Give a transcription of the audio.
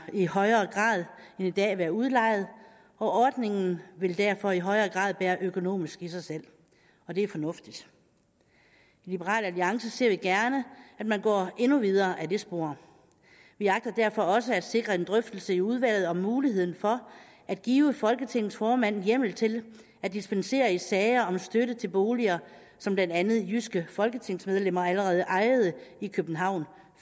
i højere grad end i dag være udlejet og ordningen vil derfor i højere grad bære økonomisk i sig selv og det er fornuftigt i liberal alliance ser vi gerne at man går endnu videre ad det spor vi agter derfor også at sikre en drøftelse i udvalget om muligheden for at give folketingets formand hjemmel til at dispensere i sager om støtte til boliger som blandt andet jyske folketingsmedlemmer allerede ejede i københavn